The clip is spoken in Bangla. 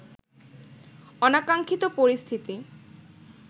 অনাকাঙ্ক্ষিত পরিস্থিতি